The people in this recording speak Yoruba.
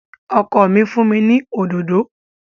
Ọkọ mi fún mi ní òdòdó